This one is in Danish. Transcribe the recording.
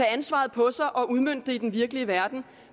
ansvaret på sig og udmønte det i den virkelige verden